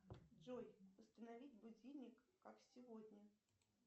джой установи будильник как сегодня